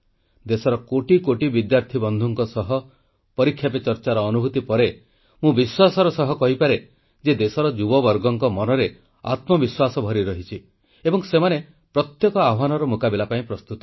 ଦେଶର କୋଟି କୋଟି ବିଦ୍ୟାର୍ଥୀ ବନ୍ଧୁଙ୍କ ସହ ପରୀକ୍ଷା ପେ ଚର୍ଚ୍ଚାର ଅନୁଭୂତି ପରେ ମୁଁ ବିଶ୍ୱାସର ସହ କହିପାରେ ଯେ ଦେଶର ଯୁବବର୍ଗଙ୍କ ମନରେ ଆତ୍ମବିଶ୍ୱାସ ଭରି ରହିଛି ଏବଂ ସେମାନେ ପ୍ରତ୍ୟେକ ଆହ୍ୱାନର ମୁକାବିଲା ପାଇଁ ପ୍ରସ୍ତୁତ